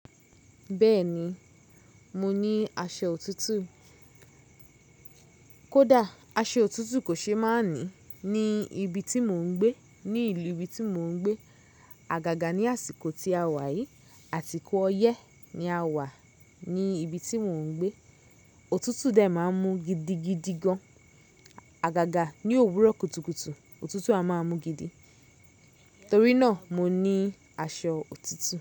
Bẹ́ẹ̀ni, mo ní aṣọ òtútù. Kódà aṣọ òtútù kò ṣe má ní ní ibi tí mò ń gbé, ní ìlú ibi tí mò ń gbé. Àgàgà ní àsìkò tí a wà yìí, àsikọ ọyẹ́ ni a wà ní ibi tí mò ń gbé. Òtútù dẹ̀ máa ń mú gidigidi gan. Àgàgà ní òwúrọ̀ kùtùkùtù, òtútù a máa mú gidi. Torí náà mo ní aṣọ òtútù.